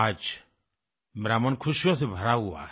आज मेरा मन खुशियों से भरा हुआ है